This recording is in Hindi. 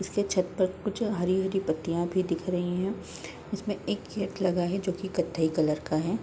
उसके छत पर कुछ हरी-हरी पत्तियां भी दिख रही है इसमें एक गेट लगा है जो की कत्थाई कलर का है।